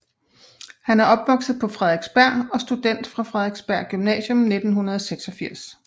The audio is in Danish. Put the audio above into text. Han er opvokset på Frederiksberg og student fra Frederiksberg Gymnasium 1986